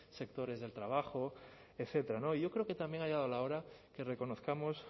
sectores del trabajo etcétera y yo creo que también ha llegado la hora que reconozcamos